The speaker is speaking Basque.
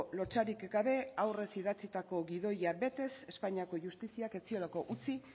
lotsarik gabe aurrez idatzitako gidoia betez espainiako justiziak ez ziolako utzi